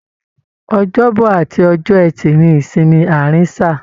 Ọjọ́bọ̀ àti ọjọ́ ẹtì ní ìsinmi àárín sáà.